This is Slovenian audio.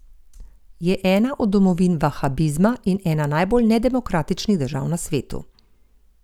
Je ena od domovin vahabizma in ena najbolj nedemokratičnih držav na svetu.